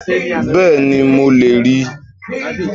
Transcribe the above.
Bẹ́ẹ̀ni mo lè ríi